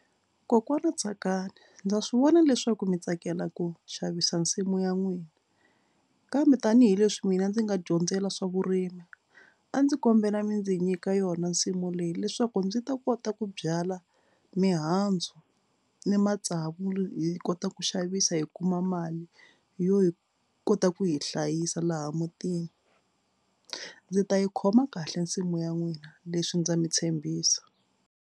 Kokwana Tsakani ndza swi vona leswaku mi tsakela ku xavisa nsimu ya n'wina kambe tanihileswi mina ndzi nga dyondzela swa vurimi a ndzi kombela mi ndzi nyika yona nsimu leyi leswaku ndzi ta kota ku byala mihandzu ni matsavu hi kota ku xavisa hi kuma mali yo hi kota ku hi hlayisa laha mutini. Ndzi ta yi khoma kahle nsimu ya n'wina leswi ndza mi tshembisa.